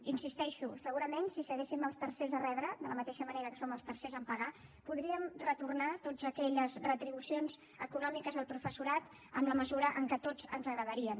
hi insisteixo segurament si fóssim els tercers a rebre de la mateixa manera que som els tercers a pagar podríem retornar totes aquelles retribucions econòmiques al professorat en la mesura en què a tots ens agradaria